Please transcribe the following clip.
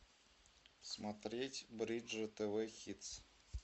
смотреть бридж тв хитс